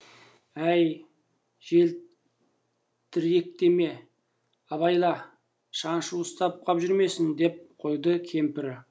әй желтіректеме абайла шаншу ұстап қап жүрмесін деп қойды кемпірі